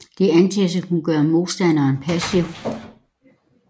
De antages at kunne gøre modstanderen passiv